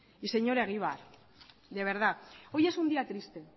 y señor egibar de verdad hoy es un día triste